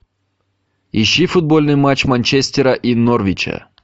ищи футбольный матч манчестера и норвича